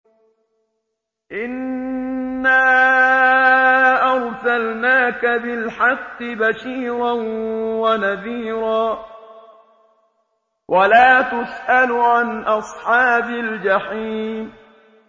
إِنَّا أَرْسَلْنَاكَ بِالْحَقِّ بَشِيرًا وَنَذِيرًا ۖ وَلَا تُسْأَلُ عَنْ أَصْحَابِ الْجَحِيمِ